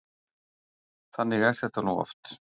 Þannig er þetta nú oft.